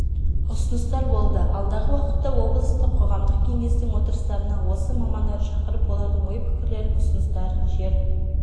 ұсыныстар болды алдағы уақытта облыстық қоғамдық кеңестің отырыстарына осы мамандарды шақырып олардың ой-пікірлерін ұсыныстарын жер